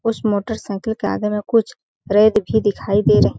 उस मोटरसाइकिल के आगे में कुछ रेत भी दिखाई दे रहे --